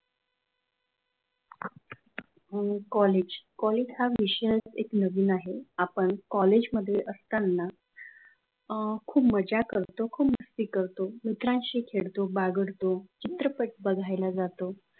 हम college college हा विषय नवीन आहे! आपण कॉलेजमध्ये असताना अ खूप मजा करत, खूप मस्ती करतो, मित्रांशी खेळतो बागडतो चित्रपट बघायला जातो.